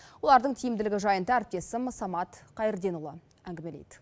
олардың тиімділігі жайында әріптесім самат қайырденұлы әңгімелейді